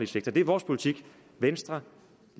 sektor det er vores politik venstre